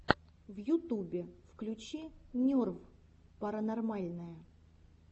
в ютубе включи нерв паранормальное